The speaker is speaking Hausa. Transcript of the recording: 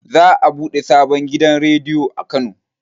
Za a buɗe sabon gidan rediyo a kano